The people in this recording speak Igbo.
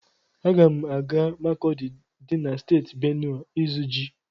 Aga m aga Makọdi dị na Steeti Benuwe ịzụ ji.